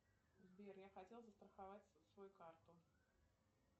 сбер я хотел застраховать свою карту